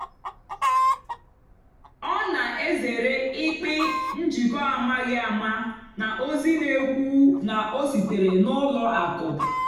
ọ́ nà-èzèré ị́kpị́ njìkọ́ àmághị́ àmá nà ózì nà-ékwú ná ó síteré nà ùlọ àkụ́.